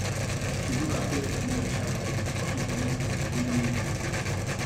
she look herself for mirror shapperly before she comot for the morning meeting